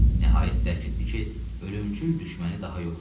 Nəhayət dərk etdi ki, ölümcül düşməni daha yoxdur.